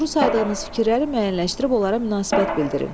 Doğru saydığınız fikirləri müəyyənləşdirib onlara münasibət bildirin.